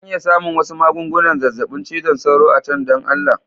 Zan iya samun wasu magungunan zazzabin cizon sauro a can don Allah?.